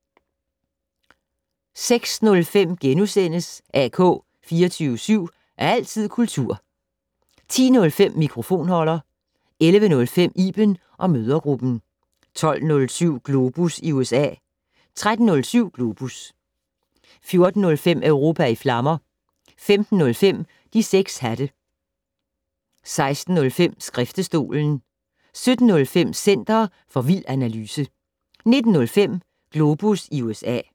06:05: AK 24syv. Altid kultur * 10:05: Mikrofonholder 11:05: Iben & mødregruppen 12:07: Globus i USA 13:05: Globus 14:05: Europa i flammer 15:05: De 6 hatte 16:05: Skriftestolen 17:05: Center for vild analyse 19:05: Globus USA